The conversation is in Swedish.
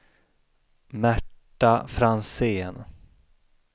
Märta Franzén